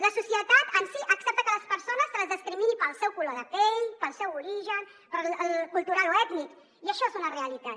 la societat en si accepta que les persones se les discrimini pel seu color de pell pel seu origen cultural o ètnic i això és una realitat